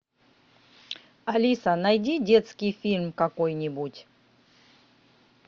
алиса найди детский фильм какой нибудь